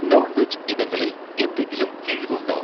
Non veg ഇനങ്ങളിൽ എന്തെങ്കിലും കിഴിവ് ഉണ്ടോ?